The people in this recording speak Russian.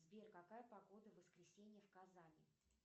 сбер какая погода в воскресенье в казани